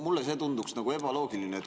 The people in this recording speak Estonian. Mulle see tunduks nagu ebaloogiline.